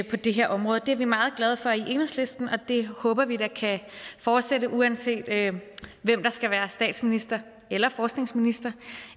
på det her område det er vi meget glade for i enhedslisten og det håber vi da kan fortsætte uanset hvem der skal være statsminister eller forskningsminister